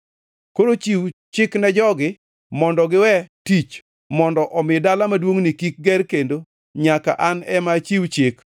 Koro chiw chik ne jogi mondo giwe tich, mondo omi dala maduongʼni kik ger kendo nyaka an ema achiw chik.